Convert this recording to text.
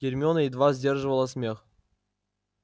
гермиона едва сдерживала смех